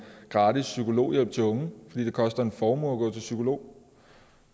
gratis psykologhjælp til unge fordi det koster en formue at gå til psykolog